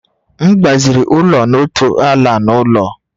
M gbaziri ụlọ n'otu ala na ụlọ